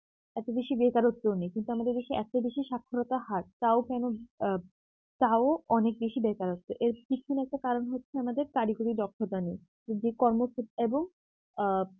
এত বেশি বেকারত্ব নেই কিন্তু আমাদের দেশে এত বেশি সাক্ষরতার হার তাও কেন আ তাও অনেক বেশি বেকারত্ব এর পিছনে একটা কারণ হচ্ছে আমাদের কারিগরি দক্ষতা নেই কিন্তু এই কর্মক্ষে এবং আ